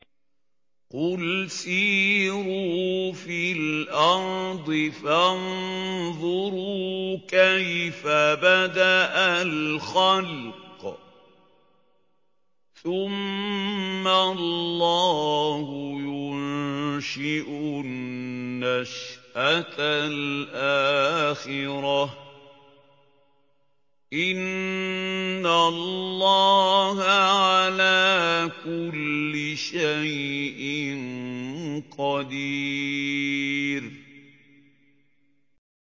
قُلْ سِيرُوا فِي الْأَرْضِ فَانظُرُوا كَيْفَ بَدَأَ الْخَلْقَ ۚ ثُمَّ اللَّهُ يُنشِئُ النَّشْأَةَ الْآخِرَةَ ۚ إِنَّ اللَّهَ عَلَىٰ كُلِّ شَيْءٍ قَدِيرٌ